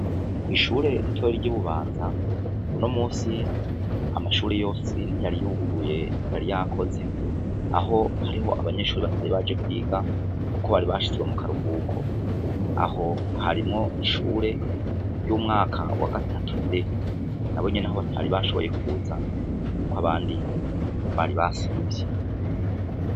Kw'ishure ritore ry'ububanza buno musi amashuri yose ntiyaryuguruye tyari yakoze aho hariho abanyeshuri batari baje kwiga, kuko bari bashizwe mu karuhuko aho harimwo ishure ry'umwaka wa gatatu de na bo nyene aho batari bashoboye kuzako abandi bari basivye.